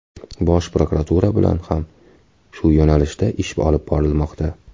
Bosh prokuratura bilan ham shu yo‘nalishda ish olib borilmoqda.